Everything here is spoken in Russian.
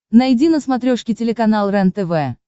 найди на смотрешке телеканал рентв